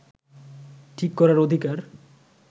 ঠিক করার অধিকার